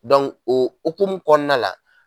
o okumu kɔnɔna la.